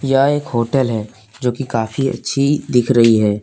यह एक होटल है जो की काफी अच्छी दिख रही है।